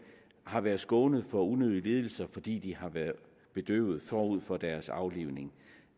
har været skånet for unødige lidelser fordi de har været bedøvet forud for deres aflivning